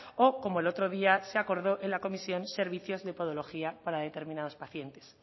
o como el otro día se acordó en la comisión servicios de podología para determinados pacientes